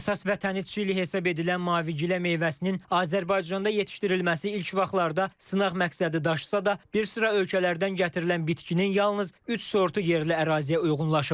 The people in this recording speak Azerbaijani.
Əsas vətəni Çili hesab edilən mavigilə meyvəsinin Azərbaycanda yetişdirilməsi ilk vaxtlarda sınaq məqsədi daşısa da, bir sıra ölkələrdən gətirilən bitkinin yalnız üç sortu yerli əraziyə uyğunlaşıb.